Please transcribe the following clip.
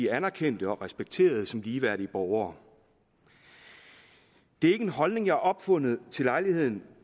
anerkendte og respekterede som ligeværdige borgere det er ikke en holdning jeg har opfundet til lejligheden